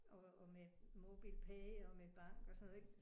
Og og med MobilePay og med bank og sådan noget ik